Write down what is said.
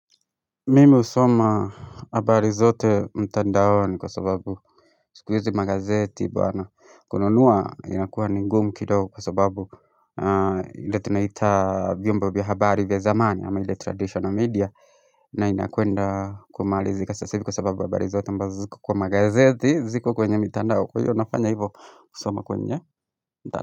Mimu husoma habari zote mtandaoni kwa sababu siku hizi magazeti bana kununua inakuwa ni ngumu kidogo kwa sababu ile tunaita vyombo vya habari vya zamani ama ile traditional media na inakwenda kumalizika sasa hivi kwa sababu habari zote ambazo ziko kwa magazeti ziko kwenye mtandao kwa hivyo nafanya hivyo kusoma kwenye mtandao.